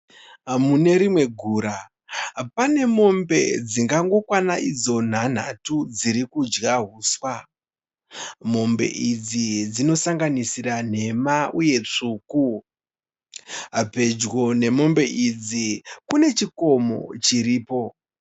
Mune rimwe gura, pane mombe dzingangokwana idzo nhanhatu dziri kudya huswa. Mombe idzi dzinosanganisira nhema uye tsvuku. Pedyo nemombe idzi kune chikomo chiripo.